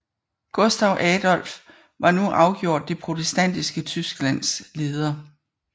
Gustav Adolf var nu afgjort det protestantiske Tysklands leder